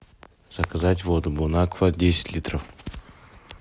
заказать воду бон аква десять литров